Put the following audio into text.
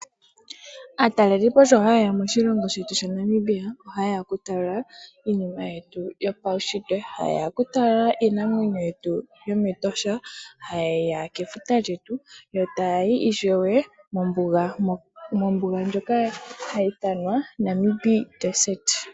Atalelipo sho hayeya moshilongo shetu shaNamibia oha yeya okutala iinima yetu yopawushitwe, hayeya okutala Iinamwenyo yetu yometosha , hayeya kefuta lyetu yo tayi ishewe mombunga moka hayithanwa Namib Desert.